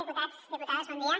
diputats diputades bon dia